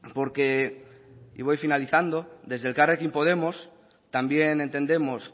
porque y voy finalizando desde elkarrekin podemos también entendemos